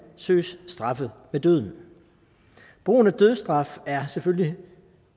søges straffet med døden brugen af dødsstraf er selvfølgelig